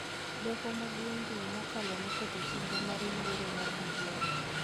Doho Maduong� juma mokalo noketho chenro mar yiero mar BBI